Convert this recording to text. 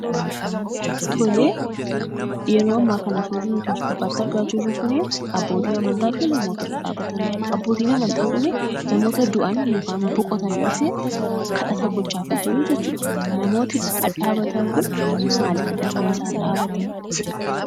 tolee , yeroo ammaa kana suurri nuti as gubbaatti argaa jirruu kunii abbootii amantaafi namoota dhadhaabatanidha. abbootiin amantaa kunii namoota du'an yookan boqotaniifi kadhata gochaafi jiruu jechuudha. namoonni dhadhaabatan kunii maalifidha kan isaan dhaabbatan?